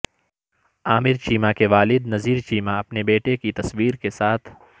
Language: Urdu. عامر چیمہ کے والد نذیر چیمہ اپنے بیٹے کی تصویر کے ساتھ